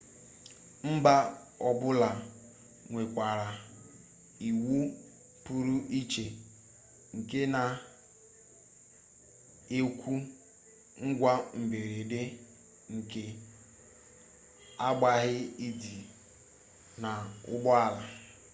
mba ọbụla nwekwara iwu pụrụ iche nke na-ekwu ngwa mberede nke aghaghị idi n'ụgbọala